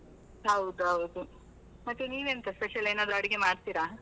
ಹೌದು ಹೌದು, ಮತ್ತೆ ನೀವೆಂತ special ಏನಾದ್ರು ಅಡಿಗೆ ಮಾಡ್ತೀರಾ?